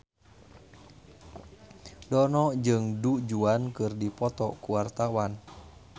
Dono jeung Du Juan keur dipoto ku wartawan